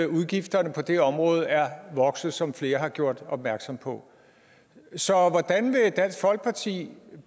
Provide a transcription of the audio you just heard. udgifterne på det område er vokset som flere har gjort opmærksom på så hvordan vil dansk folkeparti